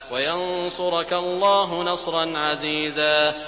وَيَنصُرَكَ اللَّهُ نَصْرًا عَزِيزًا